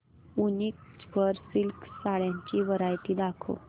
वूनिक वर सिल्क साड्यांची वरायटी दाखव